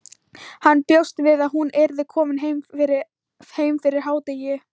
Hann bjóst við að hún yrði komin heim fyrir hádegi.